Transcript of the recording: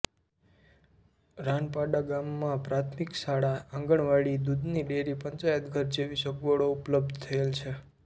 રાનપાડા ગામમાં પ્રાથમિક શાળા આંગણવાડી દૂધની ડેરી પંચાયતઘર જેવી સગવડો ઉપલબ્ધ થયેલ છે